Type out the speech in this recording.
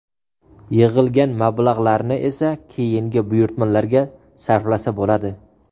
Yig‘ilgan mablag‘larni esa keyingi buyurtmalarga sarflasa bo‘ladi.